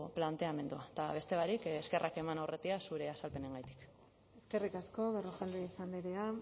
planteamendua eta beste barik eskerrak eman aurretiaz zure azalpenengaitik eskerrik asko berrojalbiz andrea